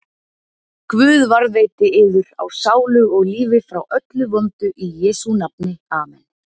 Guð varðveiti yður á sálu og lífi frá öllu vondu í Jesú nafni, amen.